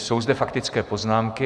Jsou zde faktické poznámky.